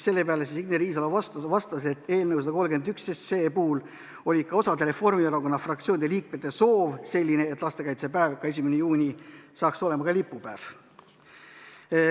Selle peale Signe Riisalo vastas, et eelnõu 131 puhul oli ka osa Reformierakonna fraktsiooni liikmete soov selline, et lastekaitsepäev 1. juuni hakkaks olema ka lipupäev.